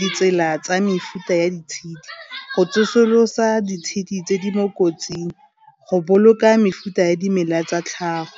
ditsela tsa mefuta ya ditshedi, go tsosolosa ditshedi tse di mo kotsing, go boloka mefuta ya dimela tsa tlhago.